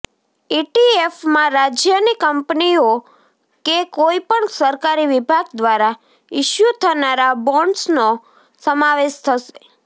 ઈટીએફમાં રાજ્યની કંપનીઓ કે કોઈપણ સરકારી વિભાગ દ્વારા ઈશ્યૂ થનારા બોન્ડ્સનો સમાવેશ થશે